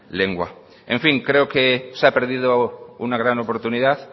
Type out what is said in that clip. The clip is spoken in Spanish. lengua en fin creo que se ha perdido una gran oportunidad